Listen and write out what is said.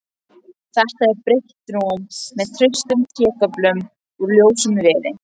Þetta er breitt rúm með traustum trégöflum úr ljósum viði.